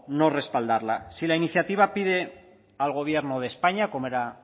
no respaldarla si la iniciativa pide al gobierno de españa como era